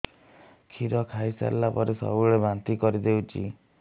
କ୍ଷୀର ଖାଇସାରିଲା ପରେ ସବୁବେଳେ ବାନ୍ତି କରିଦେଉଛି